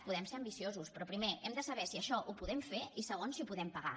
podem ser ambiciosos però primer hem de saber si això ho podem fer i segon si ho podem pagar